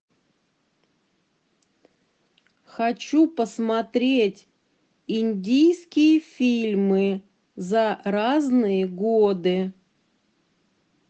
хочу посмотреть индийские фильмы за разные годы